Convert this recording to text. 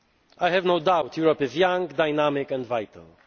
or barren. I have no doubt Europe is young, dynamic